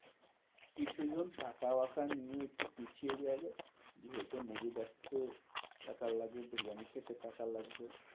কিছু জন টাকা বাকা নিয়ে একটু পিছিয়ে যাবে। হয়তো movie দেখতে টাকা লাগে। বিরিয়ানি খেতে টাকা লাগবে।